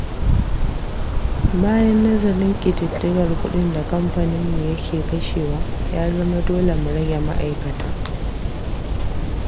Bayan nazarin ƙididdigar kuɗin da kamfaninmu yake kashewa, ya zama dole mu rage ma'aikata.